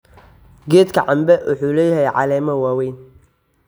Geedka cambe wuxuu leeyahay caleemo waaweyn.